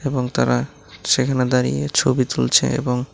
এবং তারা সেখানে দাঁড়িয়ে ছবি তুলছে এবং--